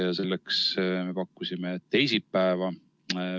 Ja selleks me pakkusime välja teisipäeva.